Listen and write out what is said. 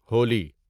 Holi